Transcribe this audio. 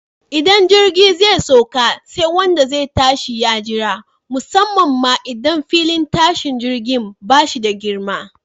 Idan jirgi zai sauka, sai wanda zai tashi ya jira, musamman ma idan filin tashin jirgin ba shi da girma.